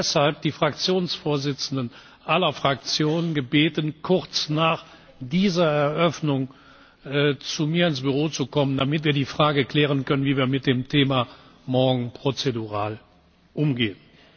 Ich habe deshalb die Fraktionsvorsitzenden aller Fraktionen gebeten, kurz nach dieser Eröffnung zu mir ins Büro zu kommen, damit wir die Frage klären können, wie wir mit dem Thema morgen prozedural umgehen.